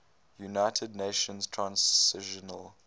united nations transitional